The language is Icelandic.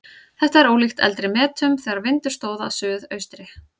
Þetta er ólíkt eldri metum þegar vindur stóð af suðaustri.